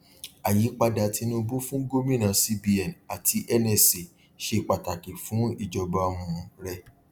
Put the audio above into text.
àyípadà tinubu fún gómìnà cbn àti nsa ṣe pàtàkì fún ìjọba um rẹ